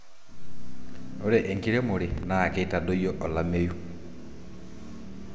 ore enkiremore naa keitadoyio olameyu